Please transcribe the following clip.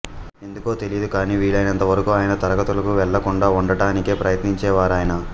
ఎందుకో తెలీదు కానీ వీలైనంత వరకూ ఆయన తరగతులకు వెళ్లకుండా ఉండటానికే ప్రయత్నించేవారాయన